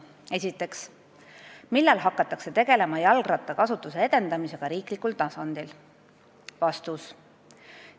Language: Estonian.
Esiteks: "Millal hakatakse tegelema jalgrattakasutuse edendamisega riiklikul tasandil?